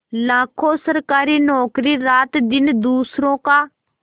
लाखों सरकारी नौकर रातदिन दूसरों का